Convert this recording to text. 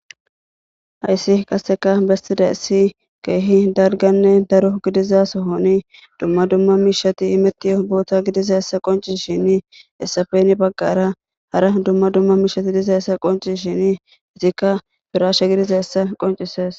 Hayssi qaseka bestida issi geehi dalganne daro gidiza sohoni dumma dumma miishati imetio boota gidiza essa qonci shin issafen baggara hara dumma dumma miishati diza essa qoncishin itikka firaasha gidiza essa qoncises.